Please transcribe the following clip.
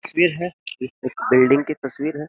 तस्वीर है। एक बिल्डिंग की तस्वीर है।